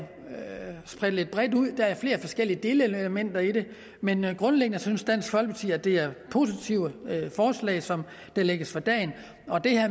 bredt lidt ud der er flere forskellige delelementer i det men grundlæggende synes dansk folkeparti at det er positive forslag som der lægges for dagen og